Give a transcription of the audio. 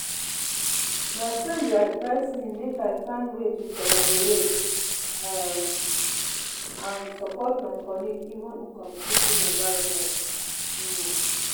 my friend dey advise me make i find way to collaborate um and support my colleagues even in competitive environments. um